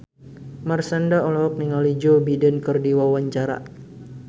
Marshanda olohok ningali Joe Biden keur diwawancara